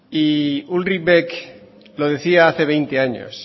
y ulrich beck lo decía hace veinte años